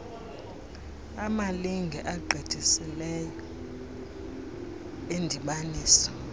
amalinge agqithiseleyo endibaniso